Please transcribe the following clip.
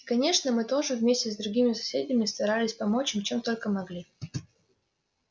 и конечно мы тоже вместе с другими соседями старались помочь им чем только могли